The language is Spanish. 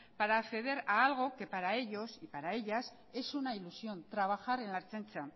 para acceder a algo que para ellos y para ellas es una ilusión trabajar en la ertzaintza